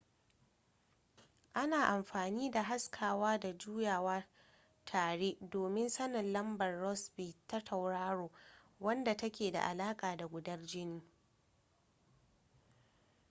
ana amfani da haskawa da juyawa tare domin sanin lambar rossby ta tauraro wadda take da alaƙa da gudanar jini